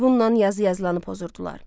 Bunla yazı yazılanı pozurdular.